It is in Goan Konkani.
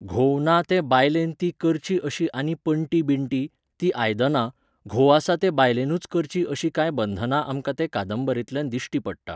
घोव ना ते बायलेन तीं करचीं अशीं आनी पण्टी बिण्टी, तीं आयदनां, घोव आसा ते बायलेनूच करचीं अशीं कांय बंधना आमकां ते कादंबरेतल्यान दिश्टी पडटात.